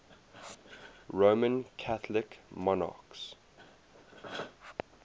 roman catholic monarchs